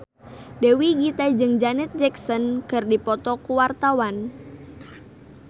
Dewi Gita jeung Janet Jackson keur dipoto ku wartawan